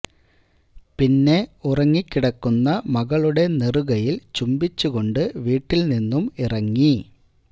പിന്നെ ഉറങ്ങിക്കിടക്കുന്ന മകളുടെ നെറുകയിൽ ചുംബിച്ചു കൊണ്ട് വീട്ടിൽ നിന്നും ഇറങ്ങി